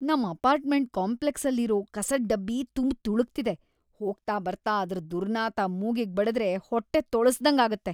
ನಮ್ ಅಪಾರ್ಟ್ಮೆಂಟ್ ಕಾಂಪ್ಲೆಕ್ಸಲ್ಲಿರೋ ಕಸದ್‌ ಡಬ್ಬಿ ತುಂಬ್‌ ತುಳುಕ್ತಿದೆ, ಹೋಗ್ತಾ ಬರ್ತಾ ಅದ್ರ್‌ ದುರ್ನಾತ ಮೂಗಿಗ್‌ ಬಡ್ದ್ರೆ ಹೊಟ್ಟೆ ತೊಳ್ಸಿದಂಗಾಗತ್ತೆ.